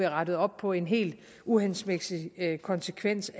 rettet op på en helt uhensigtsmæssig konsekvens